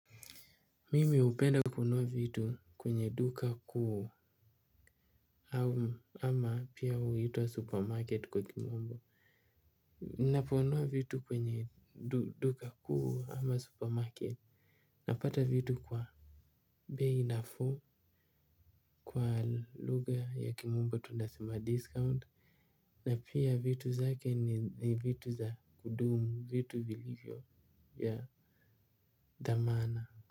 Mimi upenda kunuwa vitu kwenye duka kuu. Ama pia uhitua supermarket kwa kimombo. Naponuwa vitu kwenye duka kuu ama supermarket. Napata vitu kwa bei nafuu kwa lugha ya kimombo tunasema discount na pia vitu zake ni vitu za kudumu vitu vilivyo ya dhamana.